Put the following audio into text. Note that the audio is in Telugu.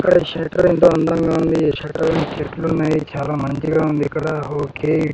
ఇక్కడ షెటర్ ఎంతో అందంగా ఉంది. ఈ షట్టర్ చెట్లున్నాయి చాలా మంచిగా ఉంది ఇక్కడ ఓకే .